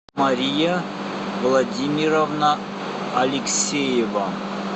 мария владимировна алексеева